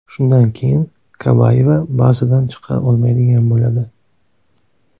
Shundan keyin Kabayeva bazadan chiqa olmaydigan bo‘ladi.